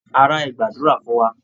Ará, ẹ gbàdúra fún wa!